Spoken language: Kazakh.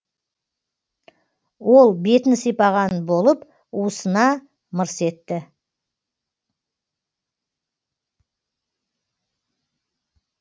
ол бетін сипаған болып уысына мырс етті